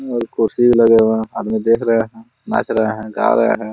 और कुर्सी लगे हुए हैं आदमी देख रहे हैं नाच रहे हैं गा रहे हैं।